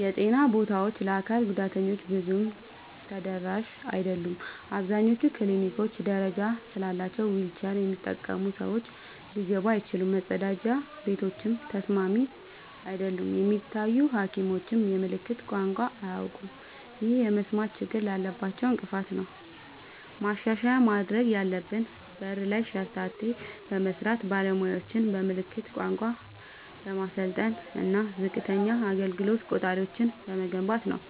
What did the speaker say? የጤና ቦታዎች ለአካል ጉዳተኞች ብዙም ተደራሽ አይደሉም። አብዛኞቹ ክሊኒኮች ደረጃ ስላላቸው ዊልቸር የሚጠቀሙ ሰዎች ሊገቡ አይችሉም፤ መጸዳጃ ቤቶችም ተስማሚ አይደሉም። የሚታዩ ሐኪሞችም የምልክት ቋንቋ አያውቁም፣ ይህም የመስማት ችግር ላላቸው እንቅፋት ነው። ማሻሻያ ማድረግ ያለብን በር ላይ ሸርተቴ በመስራት፣ ባለሙያዎችን በምልክት ቋንቋ በማሰልጠን እና ዝቅተኛ አገልግሎት ቆጣሪዎችን በመገንባት ነው።